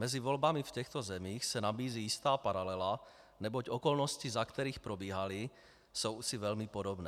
Mezi volbami v těchto zemích se nabízí jistá paralela, neboť okolnosti, za kterých probíhaly, jsou si velmi podobné.